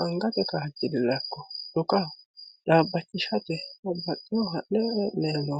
Aniggatte kaajilira ikko xukkaho xaabachishatte babbaxino hanani heenayi